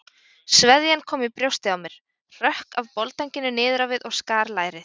Sveðjan kom í brjóstið á mér, hrökk af boldanginu niður á við og skar lærið.